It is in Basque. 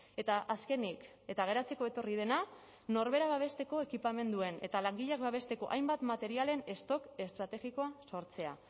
eta azkenik eta geratzeko etorri dena norbera babesteko ekipamenduen eta langileak babesteko hainbat materialen stock estrategikoa sortzea